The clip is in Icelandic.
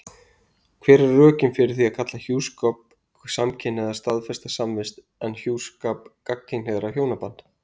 Hver eru rökin fyrir því að kalla hjúskap samkynhneigðra staðfesta samvist en hjúskap gagnkynhneigðra hjónaband?